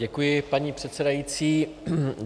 Děkuji, paní předsedající.